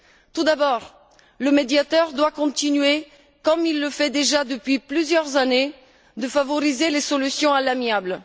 Tout d'abord, le Médiateur doit continuer, comme il le fait déjà depuis plusieurs années, à encourager les solutions à l'amiable.